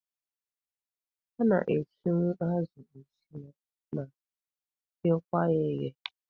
A na-esinwu azụ esi ma ghekwa ya eghe.